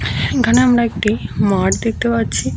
এইখানে আমরা একটি মাঠ দেখতে পারছি।